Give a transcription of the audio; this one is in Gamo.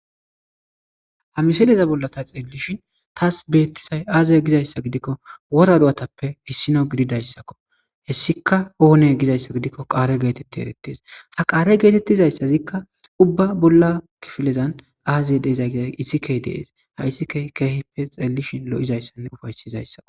Ha misileza bolla ta xeellishin taas beettisay aazay gizayssa gidikko wora du7atappe hissino gididayssakko hessika oone gizayssa gidikko qaare geetetti erettees ha qaare geetettizayssazikka ubba bolla kifilezan aazey deezay giza isikey deees ha issike keehipe xeellishin lo7izayssanne ufaysizayssakko.